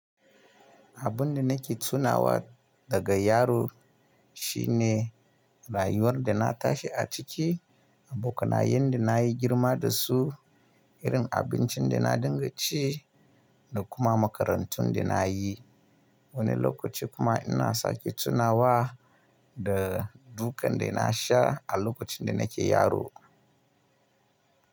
Abin da nake tunawa daga yaro shi ne rayuwar da na tashi a ciki, abokanayen da na yi girma da su, irin abincin da na dinga ci da kuma makarantun da na yi. Wani lokaci kuma ina sake tunawa da dukan da na sha a lokacin da nake yaro.